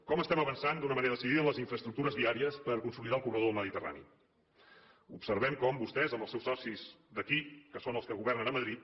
com estem avançant d’una manera decidida en les infraestructures viàries per consolidar el corredor del mediterrani observem com vostès amb els seus socis d’aquí que són els que governen a madrid